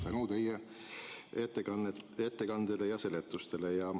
See on tekkinud tänu teie ettekandele ja seletustele.